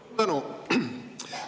Suur tänu!